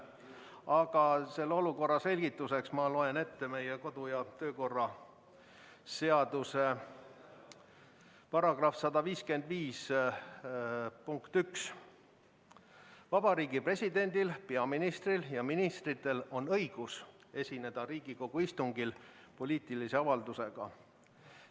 Aga olukorra selgituseks ma loen ette meie kodu- ja töökorra seaduse § 155 punkti 1: "Vabariigi Presidendil, peaministril ja ministritel on õigus esineda Riigikogu istungil poliitilise avaldusega.